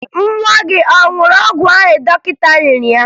Nwa gị a ṅụrụ ọgwụ ahụ dọkịta nyere ya?